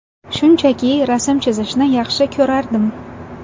Shunchaki rasm chizishni yaxshi ko‘rardim.